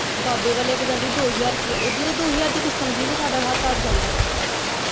ਬਾਬੇ ਵੱਲ ਇਕ ਜਾਂਦੀ ਦੋ ਹਜ਼ਾਰ ਰੁਪਇਆ ਉਹ ਜਦੋਂ ਦੋ ਹਜ਼ਾਰ ਦੀ ਕਿਸ਼ਤ ਆਉਂਦੀ ਨਾ ਸਾਡਾ ਹੱਥ ਅੜ੍ਹ ਜਾਂਦਾ।